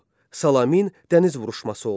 Salamin dəniz vuruşması oldu.